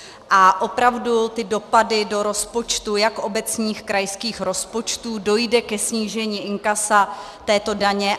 A opravdu ty dopady do rozpočtu jako obecních krajských rozpočtů, dojde ke snížení inkasa této daně.